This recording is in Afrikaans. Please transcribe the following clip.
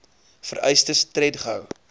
vereistes tred gehou